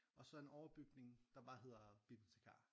Og så en overbygning der bare hedder bibliotikar